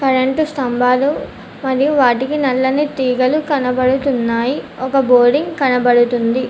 రెండు స్తంభాలు మరియు వాటికి నల్లని తీగలు కనబడుతున్నాయి ఒక బోరింగ్ కనబడుతుంది.